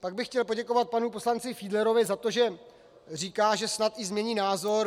Pak bych chtěl poděkovat panu poslanci Fiedlerovi za to, že říká, že snad i změní názor.